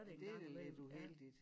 Det da lidt uheldigt